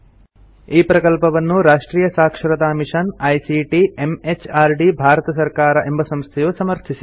ಈ ಪ್ರಕಲ್ಪವನ್ನು ರಾಷ್ಟ್ರಿಯ ಸಾಕ್ಷರತಾ ಮಿಷನ್ ಐಸಿಟಿ ಎಂಎಚಆರ್ಡಿ ಭಾರತ ಸರ್ಕಾರ ಎಂಬ ಸಂಸ್ಥೆಯು ಸಮರ್ಥಿಸಿದೆ